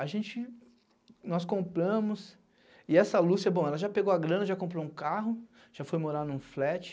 A gente... Nós compramos... E essa Lúcia, bom, ela já pegou a grana, já comprou um carro, já foi morar em um flat.